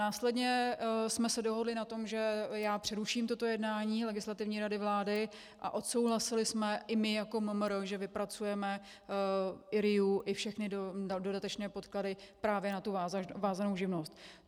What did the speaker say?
Následně jsme se dohodli na tom, že já přeruším toto jednání Legislativní rady vlády, a odsouhlasili jsme i my jako MMR, že vypracujeme i RIA i všechny dodatečné podklady právě na tu vázanou živnost.